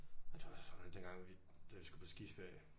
Det var også for underligt den gang hvor vi da vi skulle på skiferie